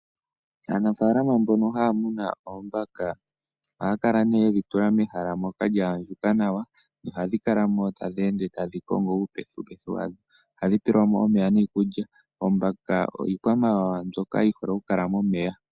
Aanafaalama mbono haya munu oombaka ohaya kala ye dhi tula mehala lya andjuka nawa nohadhi kala mo tadhi ende tadhi kongo iipethipethi yadho. Oombaka iikwamawawa mbyoka yi hole okukala momeya.